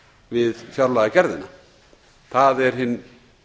við fjárlagagerðina það er hinn